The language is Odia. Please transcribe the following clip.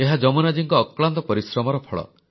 ଏହା ଯମୁନାଜୀଙ୍କ ଅକ୍ଳାନ୍ତ ପରିଶ୍ରମର ଫଳ